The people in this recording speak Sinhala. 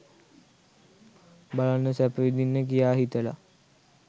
බලන්න, සැප විඳින්න කියා හිතලා